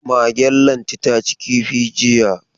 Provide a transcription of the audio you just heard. Magen Lanti ta ci kifi jiya.